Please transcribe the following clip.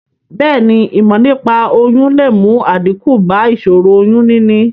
Bèéni, ìmò nípaa oyún le mu àdíkù ba ìsòro oyún níní